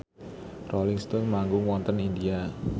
Rolling Stone manggung wonten India